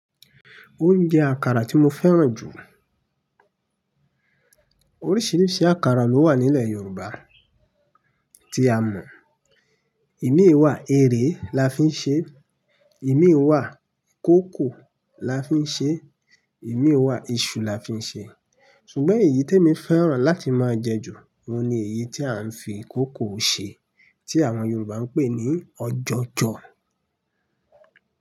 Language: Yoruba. Oúnjẹ àkàrà tí mo fẹ́ràn jù. Oríṣiríṣi àkàrà ló wà nílẹ̀ Yorùbá tí a mọ̀. Imí wà, eré la fi ń ṣe, imí wà, koòkò la fi ń ṣe, imí wà, iṣu la fi ń ṣe. Ṣùgbọ́n èyí tí èmi fẹ́ràn láti máa jẹ jù, òun ni èyí tí à ń fi ìkòokò ṣe tí àwọn Yorùbá ń pè ní ojojo.